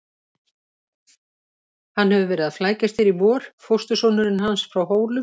Hann hefur verið að flækjast hér í vor, fóstursonurinn hans frá Hólum.